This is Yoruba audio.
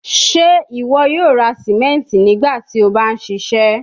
Ṣe iwọ yoo ra simenti nigbati o ba n ṣiṣẹ?